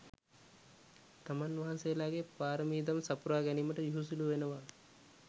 තමන් වහන්සේලාගේ පාරමිදම් සපුරා ගැනීමට යුහුසුලු වෙනව.